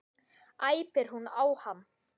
æpir hún á hann.